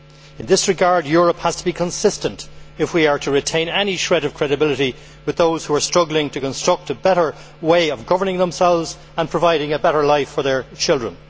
In this regard, Europe has to be consistent if we are to retain any shred of credibility with those who are struggling to construct a better way of governing themselves and providing a better life for their children.